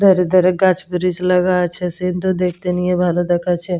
ধারে ধারে গাছ ব্রীজ লাগা আছে। সিন -টো দেখতে নিয়ে ভালো দেখাচ্ছে।